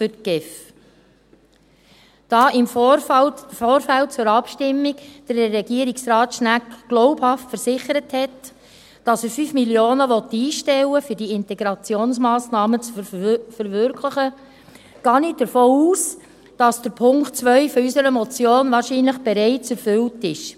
Da Regierungsrat Schnegg im Vorfeld der Abstimmung glaubhaft versicherte, er wolle 5 Mio. Franken einstellen, um diese Integrationsmassnahmen zu verwirklichen, gehe ich davon aus, dass der Punkt 2 unserer Motion wahrscheinlich bereits erfüllt ist.